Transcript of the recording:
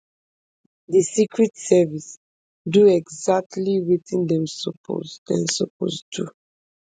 di secret service do exactly wetin dem suppose dem suppose do